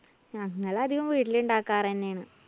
ഞങ്ങളധികും വീട്ടില് ഇണ്ടാക്കാറ് തന്നെയാണ്‌.